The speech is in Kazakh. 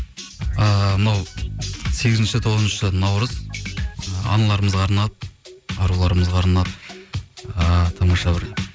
ыыы мынау сегізінші тоғызыншы наурыз ы аналармызға арнап аруларымызға арнап ы тамаша бір